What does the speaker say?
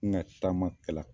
N ka taama kɛla.